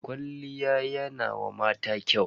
Kwalliya yana wa mata kyau.